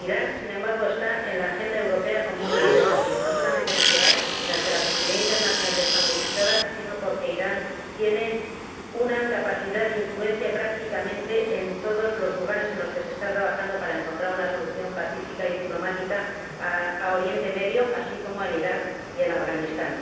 Irán, sin embargo, figura en la agenda europea como un gran desafío, no solamente nuclear, a cuyo respecto la comunidad internacional ya está movilizada, sino porque Irán tiene una capacidad de influencia en prácticamente todos los ámbitos en que se está trabajando para encontrar una solución pacífica y diplomática en Oriente Próximo, así como en Iraq y en Afganistán.